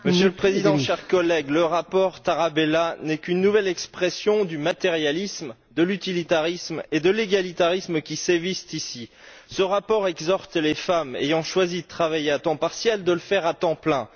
Monsieur le Président, chers collègues, le rapport Tarabella n'est qu'une nouvelle expression du matérialisme, de l'utilitarisme et de l'égalitarisme qui sévissent ici. Ce rapport exhorte les femmes ayant choisi de travailler à temps partiel de le faire à temps plein.